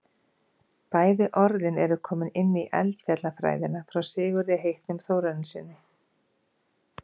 bæði orðin eru komin inn í eldfjallafræðina frá sigurði heitnum þórarinssyni